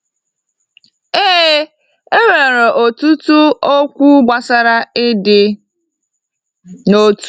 Ee, e nwere ọtụtụ okwu gbasara ịdị n’otu.